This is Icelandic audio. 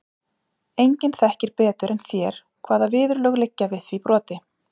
Enginn þekkir betur en þér hvaða viðurlög liggja við því broti.